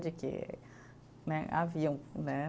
De que né, haviam, né?